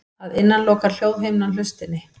Að innan lokar hljóðhimnan hlustinni.